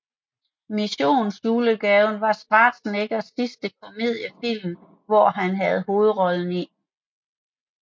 Mission julegave var Schwarzeneggers sidste komediefilm hvor han havde hovedrollen i